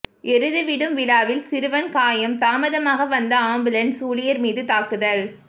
எருது விடும் விழாவில் சிறுவன் காயம் தாமதமாக வந்த ஆம்புலன்ஸ் ஊழியர் மீது தாக்குதல்